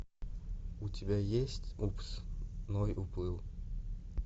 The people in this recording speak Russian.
у тебя есть упс ной уплыл